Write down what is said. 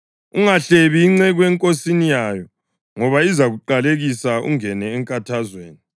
Ungahlebi inceku enkosini yayo, ngoba izakuqalekisa ungene enkathazweni.